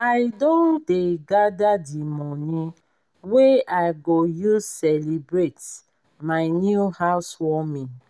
i don dey gather the money wey i go use celebrate my new house warming